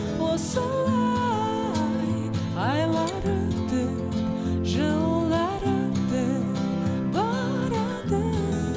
осылай айлар өтіп жылдар өтіп барады